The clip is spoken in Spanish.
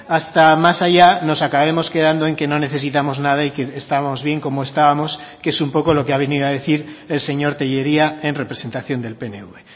hasta más allá nos acabemos quedando en que no necesitamos nada y que estamos bien como estábamos que es un poco lo que ha venido a decir el señor tellería en representación del pnv